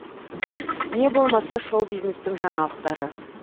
не болмаса шоу бизнестің жаңалықтары